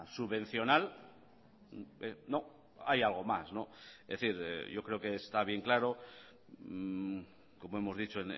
subvencional no hay algo más es decir yo creo que está bien claro como hemos dicho